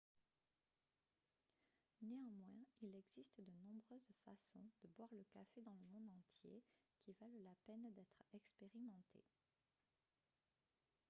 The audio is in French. néanmoins il existe de nombreuses façons de boire le café dans le monde entier qui valent la peine d'être expérimentées